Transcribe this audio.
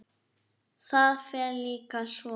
Það fer líka svo.